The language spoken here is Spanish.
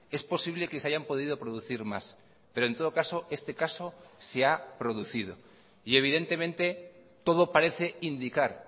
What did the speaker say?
es posible que se hayan podido producir más pero en todo caso este caso se ha producido y evidentemente todo parece indicar